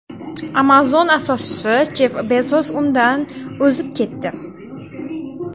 Amazon asoschisi Jeff Bezos undan o‘zib ketdi.